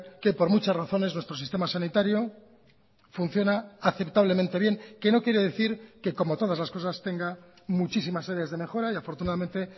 que por muchas razones nuestro sistema sanitario funciona aceptablemente bien que no quiere decir que como todas las cosas tenga muchísimas áreas de mejora y afortunadamente